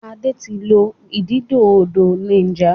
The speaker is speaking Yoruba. Ade tí lọ ididò odò Niger.